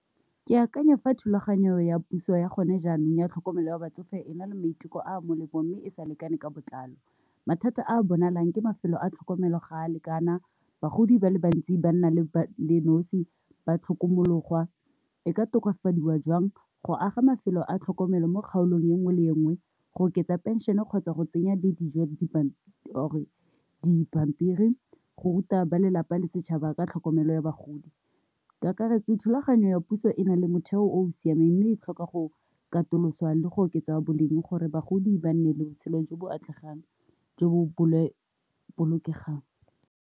Ke akanya fa thulaganyo ya puso ya gone jaanong ya tlhokomelo ya batsofe e na le maiteko a molemong mme e sa lekaneng ka botlalo, mathata a bonalang ke mafelo a tlhokomelo ga a lekana, bagodi ba le bantsi ba nna ba le nosi ba tlhokomologwa, e ka tokafadiwa jwang go, aga mafelo a tlhokomelo mo kgaolong ya nngwe le nngwe go oketsa pension-e kgotsa go tsenya di dijo or-re dipampiri go ruta ba lelapa le setšhaba ka tlhokomelo ya ba bagodi ka kakaretso. Thulaganyo ya puso e na le motheo o o siameng, mme e tlhoka go katoloswa le go oketsa boleng gore bagodi ba nne le botshelo jo bo atlegang jo bo bo bolokegang.